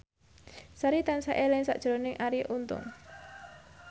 Sari tansah eling sakjroning Arie Untung